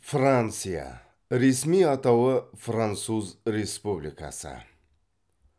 франция ресми атауы француз республикасы